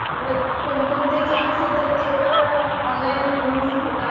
सगळं कोणकोणते क्लास येत ते पण ऑनलाईन लर्निंग घेतात.